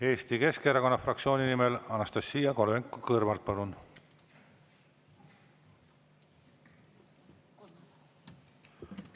Eesti Keskerakonna fraktsiooni nimel Anastassia Kovalenko-Kõlvart, palun!